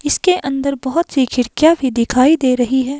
इसके अंदर बहोत सी खिड़कियां भी दिखाई दे रही है।